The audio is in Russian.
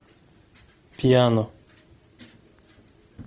пьяно